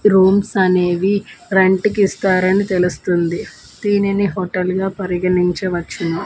Rooms అనేవి rent కిస్తారని తెలుస్తుంది దీనిని హోటల్ గా పరిగణించవచ్చును.